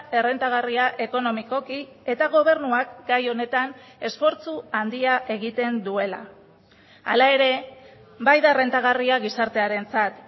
errentagarria ekonomikoki eta gobernuak gai honetan esfortzu handia egiten duela hala ere bai da errentagarria gizartearentzat